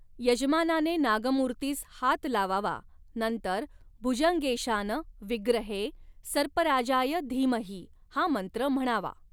यजमानाने नागमूर्तीस हात लावावा नंतर भूजङगेशान विग्रहे सर्पराजाय धीमहि हा मंत्र म्हणावा.